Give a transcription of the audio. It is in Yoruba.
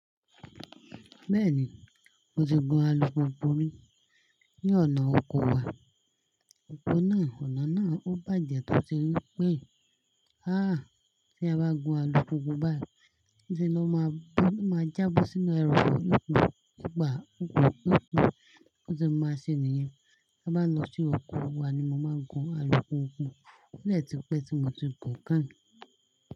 Bẹ́ẹ̀ni, mo ti gun alùpùpù mi ní ọ̀nà oko wa. Ọ̀nà náà ó bàjẹ́ tó ti wí pé, tí ẹ bá gun alùpùpù báyii isẹ ló máa já bó sínu ereofo i gbun i gbà i gbun i gbun Ó ti máa ṣe nìyen. Ti bá lọ sí oko wa ni mo máa ń gun alùpùpù ode ti pẹ́ tí mo ti gùn kányii.